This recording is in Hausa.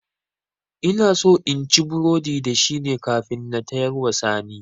Inaso inci burodi da shine kafin na tayarwa sani